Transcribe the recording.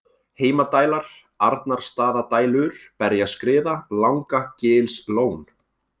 Heimadælar, Arnarstaðadælur, Berjaskriða, Langagilslón